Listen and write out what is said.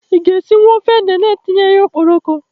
I ga-esinwu ofe ede na etinyeghi ya okporoko?